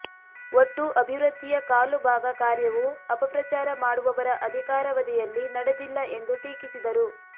ಒಟ್ಟು ಅಭಿವೃದ್ದಿಯ ಕಾಲು ಭಾಗ ಕಾರ್ಯವು ಅಪಪ್ರಚಾರ ಮಾಡುವವರ ಅಧಿಕಾರವಧಿಯಲ್ಲಿ ನಡೆದಿಲ್ಲ ಎಂದು ಟೀಕಿಸಿದರು